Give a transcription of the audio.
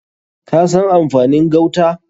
Ka san amfanin gauta?